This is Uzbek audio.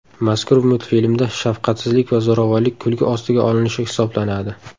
Mazkur multfilmda shafqatsizlik va zo‘ravonlik kulgi ostiga olinishi hisoblanadi.